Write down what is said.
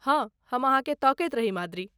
हँ, हम अहाँकेँ तकैत रही माद्री।